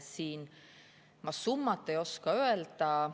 Siin ma summat ei oska öelda.